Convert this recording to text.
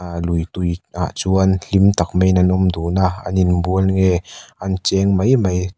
ahh lui tui ah chuan hlim tak maiin an awm dun a an in bual nge an cheng mai mai--